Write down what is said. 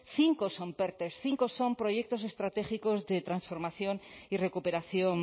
cinco son perte cinco son proyectos estratégicos de transformación y recuperación